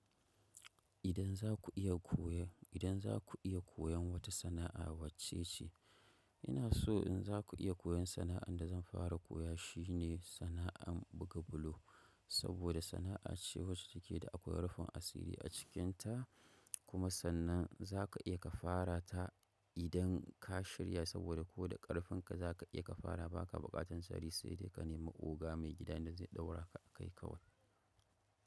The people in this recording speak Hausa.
Idan za ku iya koyo, idan za ku iya koyon wata sana'a wacce ce? Ina so in za ku iya koyon sana'an da zan fara koya shine sana'an buga bulo. Saboda sana'a ce wacce take da akwai rufin asiri a cikinta kuma sannan za ka iya ka fara ta idan ka shirya saboda ko da ƙarfin ka za ka iya ka fara ba ka buƙatan sari sai dai ka nemi oga mai gida da zai ɗaura ka kai kawai.